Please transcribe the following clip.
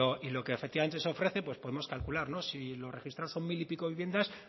y lo que efectivamente se ofrece pues podemos calcular si los registrados son mil y pico viviendas